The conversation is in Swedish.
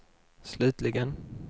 slutligen